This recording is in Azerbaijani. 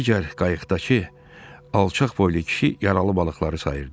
Digər qayıqdakı alçaq boylu kişi yaralı balıqları sayırdı.